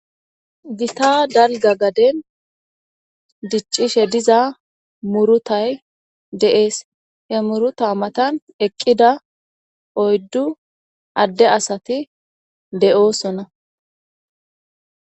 Gita dalgga gaden diccishe diza muruutay de7es. He muruuta matan eqida oyddu adde asati de7osona.